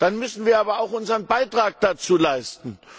Dazu müssen wir aber auch unseren Beitrag leisten.